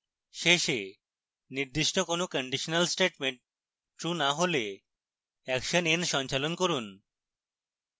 শেষে নির্দিষ্ট কোনো কন্ডিশনাল স্টেটমেন্ট true n হলে action n সঞ্চালন করুন